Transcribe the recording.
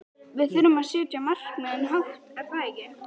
Við þurfum að setja markmiðin hátt er það ekki?